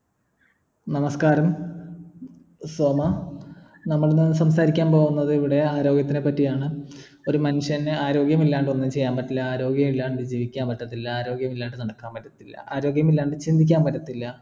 നമസ്ക്കാരം സോമാ നമ്മളിന്ന് സംസാരിക്കാൻ പോവുന്നത് ഇവിടെ ആരോഗ്യത്തിനെ പറ്റിയാണ് ഒരു മനുഷ്യന് ആരോഗ്യം ഇല്ലാണ്ട് ഒന്നും ചെയ്യാൻ പറ്റില്ല ആരോഗ്യം ഇല്ലാണ്ട് ജീവിക്കാൻ പറ്റത്തില്ല ആരോഗ്യം ഇല്ലാണ്ട് നടക്കാൻ പറ്റത്തില്ല ആരോഗ്യം ഇല്ലാണ്ട് ചിന്തിക്കാൻ പറ്റത്തില്ല